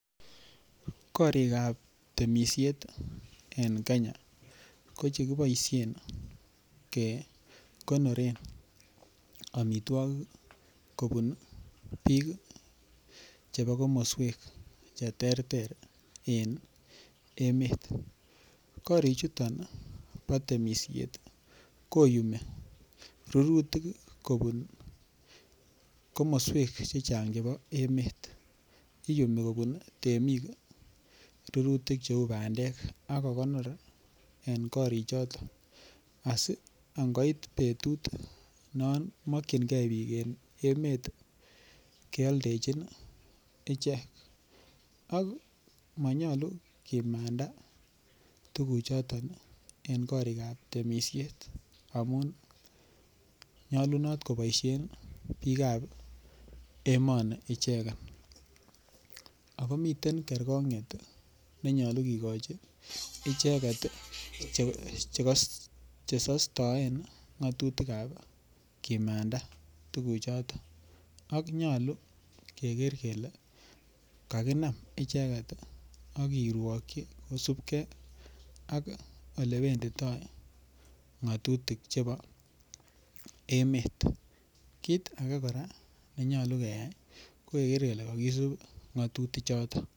Korikab temisiet en Kenya ko chekiboisien kekonoren amitwogik kobun biik chebo komoswek cheterter en emet. Korichuto bo temisiet koyumi rurutik kobun komoswek chechang chebo emet. Iyumi kobun temik rurutik cheu bandek ak kogonor en korichoto asi angoit betut non makyinge biik en emet keoldechin ichek akmanyalu kimanda tuguchoton en korikab temisiet amun nyalunot koboisien biikab emoni ichegen. Ago miten kergonget ne nyalu kigochi icheget che kosostoen ngatutikab kimanda tuguchoton ak nyalu keger kele kakiginam ak icheget ak kirwokyi kosupke ak olewenditoi ngatutik chebo emet. Kit age kora nenyalu keyai ko keger kele kakisup ngatutichoto.